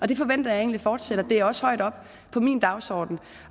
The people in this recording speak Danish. det forventer jeg egentlig fortsætter det står også højt oppe på min dagsorden